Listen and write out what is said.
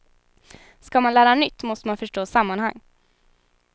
Ska man lära nytt måste man förstå sammanhang.